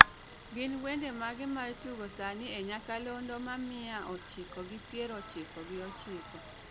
gin wende mage maitugo sani e nyakalondo ma mia ochiko gi pier ochiko gi ochiko